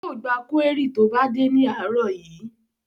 Yóò gba kúérì tó bá dé ní àárọ̀ yìí